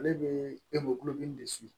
Ale bɛ kulo min desi